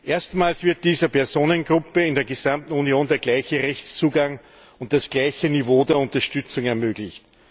Erstmals wird dieser Personengruppe in der gesamten Union der gleiche Rechtszugang und das gleiche Niveau der Unterstützung ermöglicht.